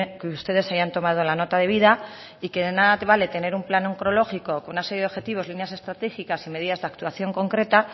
que ustedes hayan tomado la nota de vida y que de nada te vale tener un plan oncológico con una serie de objetivos líneas estratégicas y medidas de actuación concreta